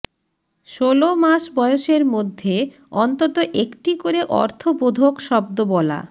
ষোল মাস বয়সের মধ্যে অন্তত একটি করে অর্থবোধক শব্দ বলা